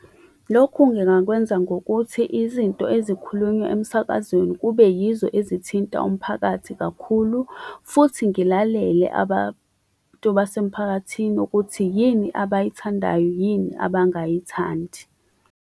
Lokhu ngingakwenza ngokuthi izinto ezikhulunywa emsakazweni kube yizo ezithinta umphakathi kakhulu futhi ngilalele abantu basemphakathini ukuthi yini abayithandayo yini abangayithandi.